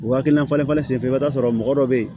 O hakilina falen falen senfɛ i bɛ t'a sɔrɔ mɔgɔ dɔ bɛ yen